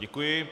Děkuji.